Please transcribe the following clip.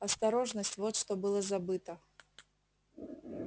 осторожность вот что было забыто